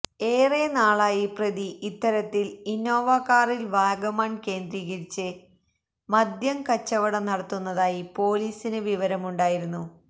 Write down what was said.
ഏറെ നാളായി പ്രതി ഇത്തരത്തില് ഇന്നോവാ കാറില് വാഗമണ് കേന്ദ്രീകരിച്ച് മദ്യം കച്ചവടം നടത്തുന്നതായി പോലീസിന് വിവരമുണ്ടായിരുന്നു